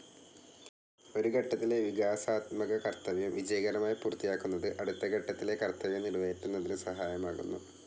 ഒരു ഘട്ടത്തിലെ വികാസാത്മക കർത്തവ്യം വിജയകരമായി പൂർത്തിയാക്കുന്നത് അടുത്ത ഘട്ടത്തിലെ കർത്തവ്യം നിറവേറ്റുന്നതിനു സഹായകമാകുന്നു.